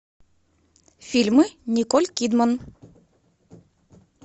фильмы николь кидман